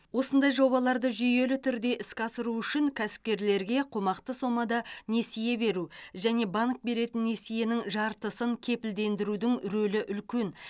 осындай жобаларды жүйелі түрде іске асыру үшін кәсіпкерлерге қомақты сомада несие беру және банк беретін несиенің жартысын кепілдендірудің рөлі үлкен